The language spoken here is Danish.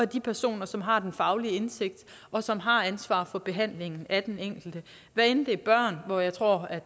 de personer som har den faglige indsigt og som har ansvar for behandlingen af den enkelte hvad enten det er børn hvor jeg tror